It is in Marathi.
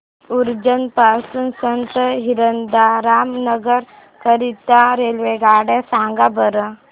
उज्जैन पासून संत हिरदाराम नगर करीता रेल्वेगाड्या सांगा बरं